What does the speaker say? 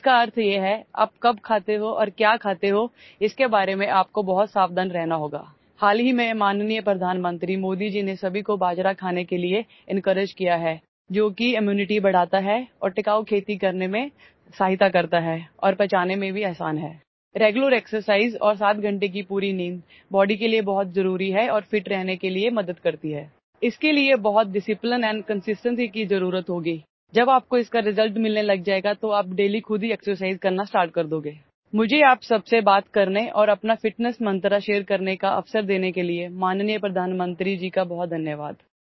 इसका अर्थ ये है कि आप कब खाते हो और क्या खाते हो इस के बारे में आपको बहुत सावधान रहना होगा हाल ही में माननीय प्रधानमंत्री मोदी जीने सभी को बाजरा खाने के लिए એન્કોરેજ किया है जो कि ઇમ્યુનિટી बढाता है और टिकाउ खेती करने में सहायता करता है और पचाने में भी आसान है રેગ્યુલર એક્સરસાઇઝ और 7 घंटे की पूरी नींद બોડી के लिए बहुत जरूरी है और ફિટ रहने के लिए मदद करती है इस के लिए बहुत ડિસિપ્લિન એન્ડ કન્સિસ્ટન્સી की जरूरत होगी जब आप को इसका રિઝલ્ટ मिलने लग जाएगा तो आप ડેઇલી खुद ही એક્સરસાઇઝ करना startकरदोगे मुझे आप सब से बात करने और अपना ફિટનેસ मंत्र શેર करने का अवसर देने के लिए माननीय प्रधानमंत्री जी का बहुत धन्यवाद